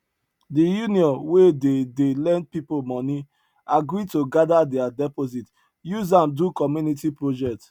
the union wey dey dey lend people money agree to gather their deposit use am do community project